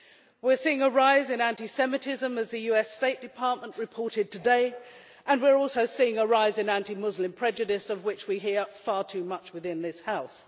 We are seeing a rise in anti Semitism, as the US State Department reported today, and we are also seeing a rise in anti Muslim prejudice, of which we hear far too much within this House.